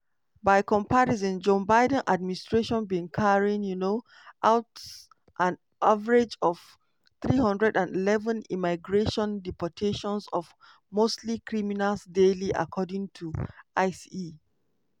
by comparison joe biden administration bin carry um out an average of 311 immigration deportations of mostly criminals daily according to ice.